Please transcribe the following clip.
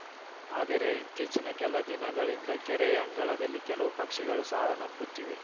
ಆದರೆ ಇತ್ತೀಚಿನ ಕೆಲ ದಿನಗಳಿಂದ ಕೆರೆಯ ಅಂಗಳದಲ್ಲಿ ಕೆಲವು ಪಕ್ಷಿಗಳು ಸಾವನ್ನಪ್ಪುತ್ತಿವೆ